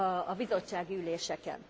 a bizottsági üléseken.